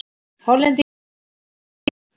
Hollendingnum var orðið rótt.